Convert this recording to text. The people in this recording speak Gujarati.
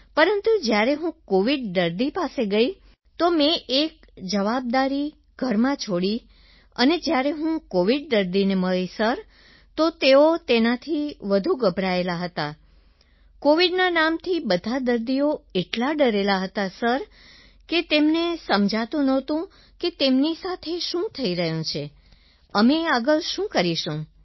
પરંતુ જ્યારે હું કોવિડ દર્દી પાસે ગઈ તો મેં એક જવાબદારી ઘરમાં છોડી દીધી અને જ્યારે હું કોવિડ દર્દીને મળી સર તો તેઓ તેનાથી વધુ ગભરાયેલા હતા કોવિડના નામથી બધા દર્દી એટલા ડરેલા હતા સર કે તેમને સમજાતું નહોતું કે તેમની સાથે શું થઈ રહ્યું છે અમે આગળ શું કરીશું